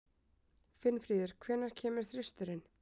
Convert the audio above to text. Finnfríður, hvenær kemur þristurinn?